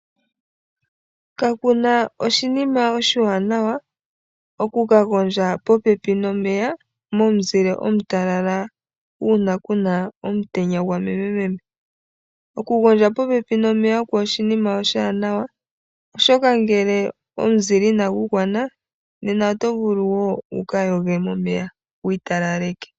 Kapuna oshinima oshiwanawa oku ka gondja popepi nomeya momuzile omutalala uuna ku na omutenya gwamemememe. Okugondja popepi nomeya osho oshinima oshiwanawa, oshoka ngele omuzile inagu gwana nena oto vulu wo wu ka yoge momeya, wu italaleke.